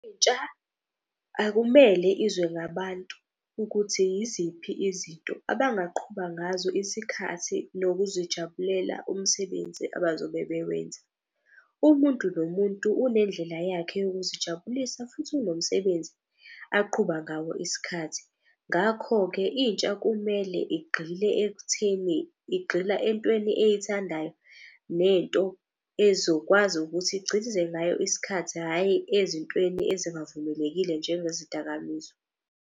Akumele izwe ngabantu ukuthi yiziphi izinto abangaqhuba ngazo isikhathi nokuzijabulela umsebenzi abazobe bewenza. Umuntu nomuntu unendlela yakhe yokuzijabulisa futhi unomsebenzi aqhuba ngawo isikhathi. Ngakho-ke intsha kumele igxile ekutheni, igxila entweni eyithandayo nento ezokwazi ukuthi ngayo isikhathi. Hhayi ezintweni ezingavumelekile njenge zidakamizwa.